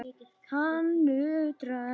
Hann nötrar.